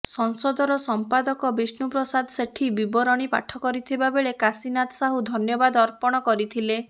ସଂସଦର ସଂପାଦଜ ବିଷ୍ଣୁ ପ୍ରସାଦ ସେଠୀ ବିବରଣୀ ପାଠ କରିଥିବା ବେଳେ କାଶୀନାଥ ସାହୁ ଧନ୍ୟବାଦ ଅର୍ପଣ କରିଥିଲେ